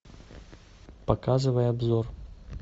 показывай обзор